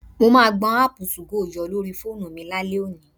Mo máa gbọn áàpù 2go yọ lórí fóònù lálẹ́ òní